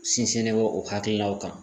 Sinsinnen bɛ o hakilinaw kan.